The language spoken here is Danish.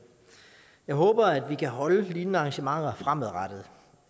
jeg håber at vi kan holde lignende arrangementer fremadrettet